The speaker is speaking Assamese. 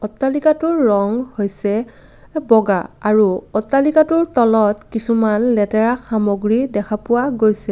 অট্টালিকাটোৰ ৰং হৈছে বগা আৰু অট্টালিকাটোৰ তলত কিছুমান লেতেৰা সামগ্ৰী দেখা গৈছে।